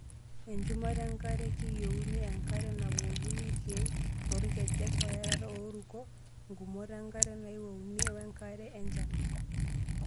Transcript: Enchumata enkare:Keiwouni enkare nabukokini irkiek toorkejek, oerat ooruko, ngumot enkare naiwouni wenkare enchan.